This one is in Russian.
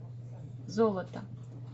золото